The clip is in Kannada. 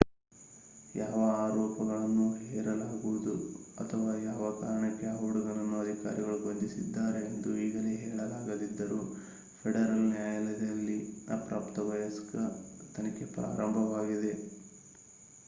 ಯಾವ ಆರೋಪಗಳನ್ನು ಹೇರಲಾಗುವುದು ಅಥವಾ ಯಾವ ಕಾರಣಕ್ಕೆ ಆ ಹುಡುಗನನ್ನು ಅಧಿಕಾರಿಗಳು ಬಂಧಿಸಿದ್ದಾರೆ ಎಂದು ಈಗಲೇ ಹೇಳಲಾಗದಿದ್ದರೂ ಫೆಡರಲ್ ನ್ಯಾಯಾಲಯದಲ್ಲಿ ಅಪ್ರಾಪ್ತ ವಯಸ್ಕ ತನಿಖೆ ಪ್ರಾರಂಭವಾಗಿದೆ